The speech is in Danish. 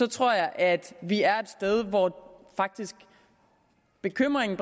tror at vi er et sted hvor bekymringen